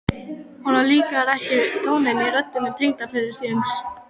Honum líkaði ekki tónninn í rödd tengdaföður síns.